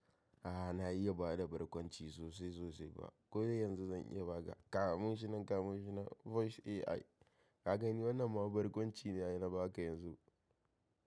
Ah na iya ba da barkwanci sosai-sosai ba. Ko da yanzu zan iya ba ka kamun shi nan kamo shi nan Voice AI. Ka gani wannan ma barkwanci ne ai na ba ka yanzu.